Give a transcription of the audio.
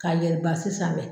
Ka yɛli sanfɛ